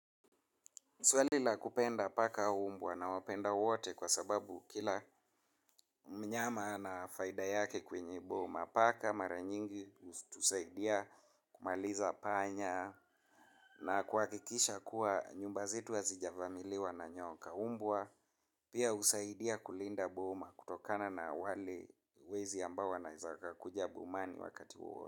Swali la kupenda paka au mbwa nawapenda wote kwa sababu kila mnyama na faida yake kwenye boma paka mara nyingi hutusaidia kumaliza panya na kuhakikisha kwamba nyumba zetu hazijavamiwa na nyoka mbwa pia husaidia kulinda boma kutokana na wale wezi ambao wanaweza kakuja bomani wakati wowote.